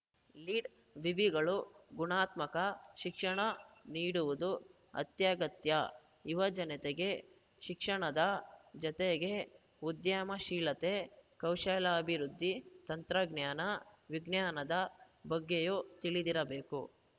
ಲೀಡ್‌ವಿವಿಗಳು ಗುಣಾತ್ಮಕ ಶಿಕ್ಷಣ ನೀಡವುದು ಅತ್ಯಗತ್ಯ ಯುವಜನತೆಗೆ ಶಿಕ್ಷಣದ ಜತೆಗೆ ಉದ್ಯಮಶೀಲತೆ ಕೌಶಲ್ಯಾಭಿವೃದ್ಧಿ ತಂತ್ರಜ್ಞಾನ ವಿಜ್ಞಾನದ ಬಗ್ಗೆಯೂ ತಿಳಿದಿರಬೇಕು